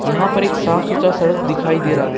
यहां पर एक साफ सुथरा सड़क दिखाई दे रहा है।